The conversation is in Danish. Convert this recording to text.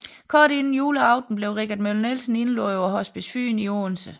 Kort inden juleaften blev Richard Møller Nielsen indlagt på Hospice Fyn i Odense